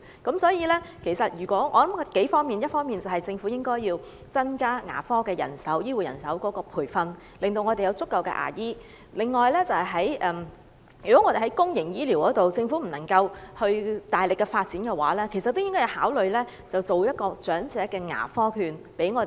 我認為要多管齊下，一方面，政府應增加牙科醫護人手的培訓，讓我們有足夠的牙醫；另外，在公營醫療方面，如果政府不能夠大力發展的話，便應考慮向長者提供長者牙科券。